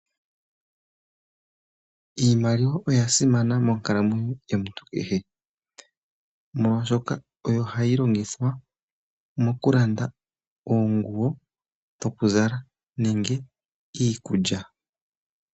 Iimaliwa oya simana monkalamwenyo yomuntu kehe molwashoka oyo hayi longithwa mokulanda oonguwo dho ku zala nenge iikulya.